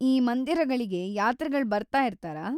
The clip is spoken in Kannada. ಈ ಮಂದಿರಗಳಿಗೆ ಯಾತ್ರಿಗಳ್‌ ಬರ್ತಾಯಿರ್ತಾರಾ?